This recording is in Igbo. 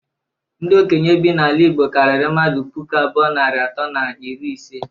Ndi okenye bi n'ala igbo karịrị mmadụ puku abụọ, narị atọ na iri ise.